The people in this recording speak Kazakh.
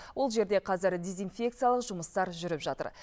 ол жерде қазір дезинфекциялық жұмыстар жүріп жатыр